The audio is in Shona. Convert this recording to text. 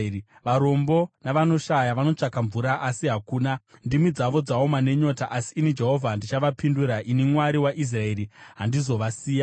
“Varombo navanoshaya vanotsvaka mvura asi hakuna; ndimi dzavo dzaoma nenyota. Asi ini Jehovha ndichavapindura; ini, Mwari waIsraeri, handizovasiya.